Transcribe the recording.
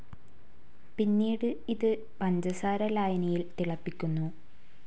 പിന്നീട് ഇത് പഞ്ചസാര ലായനിയിൽ തിളപ്പിക്കുന്നു.